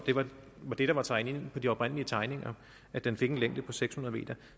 var tegnet ind på de oprindelige tegninger at den fik en længde på seks hundrede m